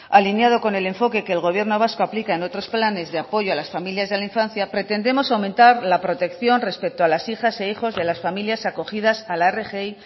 alineado con el enfoque que el gobierno vasco aplica en otros planes de apoyo a las familias y a la infancia pretendemos aumentar la protección respeto a las hijas e hijos de las familias acogidas a la rgi